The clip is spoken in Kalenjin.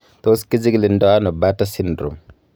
Tos kichikildo ono Bartter syndrome?